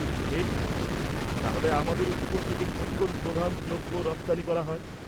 -ঠিক। তাহলে আমাদের উপকূল থেকে কোন কোন প্রধান দ্রব্য রপ্তানি করা হয়?